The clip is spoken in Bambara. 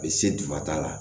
U bɛ se dugumata la